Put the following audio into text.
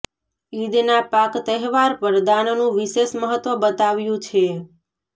ઈદના પાક તહેવાર પર દાનનુ વિશેષ મહત્વ બતાવ્યુ છે